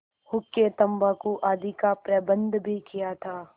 हुक्केतम्बाकू आदि का प्रबन्ध भी किया था